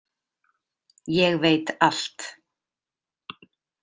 Ég veit allt.